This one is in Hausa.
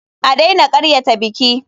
A daina karyata biki.